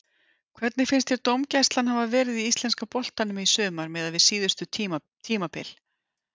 Hvernig finnst þér dómgæslan hafa verið í íslenska boltanum í sumar miðað við síðustu tímabil?